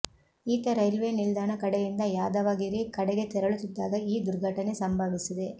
ಈತ ರೈಲ್ವೆ ನಿಲ್ದಾಣ ಕಡೆಯಿಂದ ಯಾದವಗಿರಿ ಕಡೆಗೆ ತೆರಳುತ್ತಿದ್ದಾಗ ಈ ದುರ್ಘಟನೆ ಸಂಭವಿಸಿದೆ